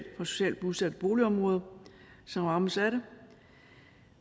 socialt udsatte boligområder som rammes af det